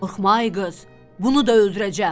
Qorxma ay qız, bunu da öldürəcəm.